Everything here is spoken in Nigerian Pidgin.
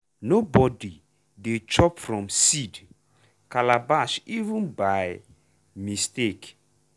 nobody dey chop from seed calabash even by mistake.